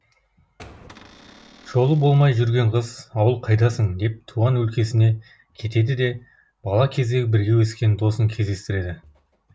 жолы болмай жүрген қыз ауыл қайдасың деп туған өлкесіне кетеді де бала кезде бірге өскен досын кездестіреді